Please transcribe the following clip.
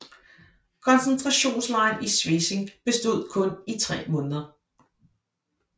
Koncentrationslejren i Svesing bestod kun i tre måneder